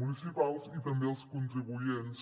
municipals i també als contribuents